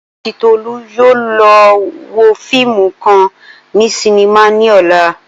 Ola ati Tolu yoo lọ wo fiimu kan ni sinima ni ọla.